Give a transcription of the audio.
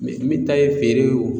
min ta ye feere ye o